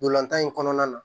Ntolan tan in kɔnɔna na